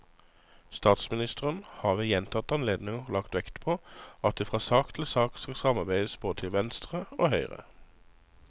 Statsministeren har ved gjentatte anledninger lagt vekt på at det fra sak til sak skal samarbeides både til venstre og høyre.